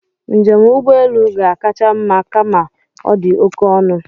Njem ụgbọelu ga-akacha mma kama ọ dị oké ọnụ